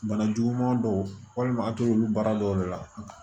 Bana juguman dɔw walima a t'olu baara dɔw de la